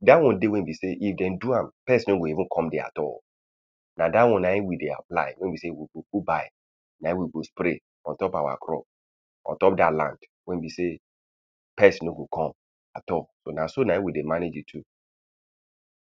Dat one dey wey be sey if dem do am, pest no go even come dere at all. Na dat one na im we dey apply. Wey be sey we go go buy. Na im we go spray on top our crop. on top dat land. Wey be sey pest no go come at all. So na so na im we dey manage the two.